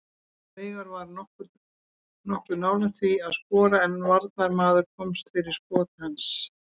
Veigar var nokkuð nálægt því að skora en varnarmaður komst fyrir skot hans.